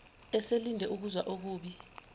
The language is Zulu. eselinde ukuzwa okubi